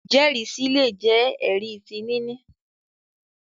ijẹrisi lè jé ẹri tí níni